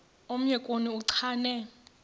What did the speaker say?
omnye kuni uchane